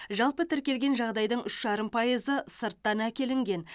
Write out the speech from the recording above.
жалпы тіркелген жағдайдың үш жарым пайызы сырттан әкелінген